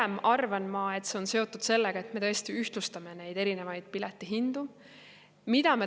Ma arvan, et pigem on see seotud sellega, et me tõesti ühtlustame neid erinevaid piletihindu.